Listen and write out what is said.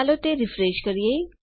ચાલો તે રીફ્રેશ કરીએ